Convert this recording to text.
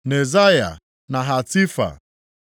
Nezaya na Hatifa.